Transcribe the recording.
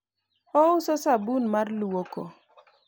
ouso sabun mar lwoko